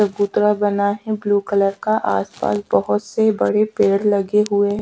चबूतरा बना है ब्लू कलर का आस पास बहोत से बड़े पेड़ लगे हुए है।